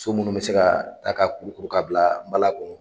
So munnu bɛ se ka ta ka kurukuru ka bila n bala kɔnɔ.